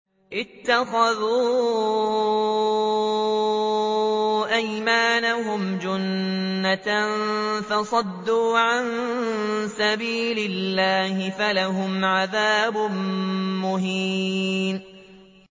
اتَّخَذُوا أَيْمَانَهُمْ جُنَّةً فَصَدُّوا عَن سَبِيلِ اللَّهِ فَلَهُمْ عَذَابٌ مُّهِينٌ